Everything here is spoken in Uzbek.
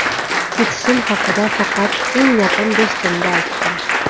Ketishim haqida faqat eng yaqin do‘stimga aytdim.